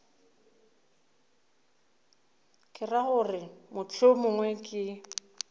ke ra gore mohlomongwe ke